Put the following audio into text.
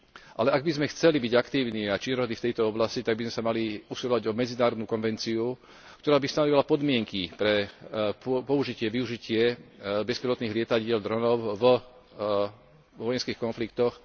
Ale ak by sme chceli byť aktívni a činorodí v tejto oblasti, tak by sme sa mali usilovať o medzinárodnú konvenciu, ktorá by stanovila podmienky pre použitie a využitie bezpilotných lietadiel vo vojenských konfliktoch.